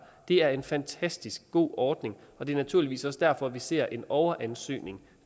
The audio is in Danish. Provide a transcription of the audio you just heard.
er en fantastisk god ordning og det er naturligvis også derfor vi ser en overansøgning